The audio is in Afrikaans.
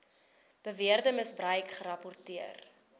beweerde misbruik gerapporteer